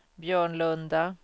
Björnlunda